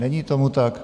Není tomu tak.